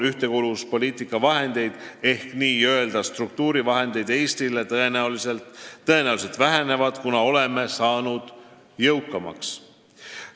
Ühtekuuluvuspoliitika vahendid ehk n-ö struktuurivahendid, mis Eestile eraldatakse, tõenäoliselt vähenevad, kuna oleme jõukamaks saanud.